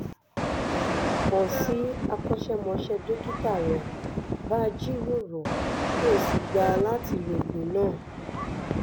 kàn sí akọ́ṣẹ́mọṣẹ́ dókítà rẹ bá a jíròrò kó o sì gbà láti lo oògùn náà